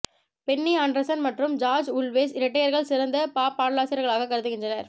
Penney Andersson மற்றும் George Ulvaeus இரட்டையர்கள் சிறந்த பாப் பாடலாசிரியர்களாகக் கருதுகின்றனர்